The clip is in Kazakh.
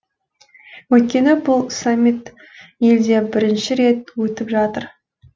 өйткені бұл саммит елде бірінші рет өтіп жатыр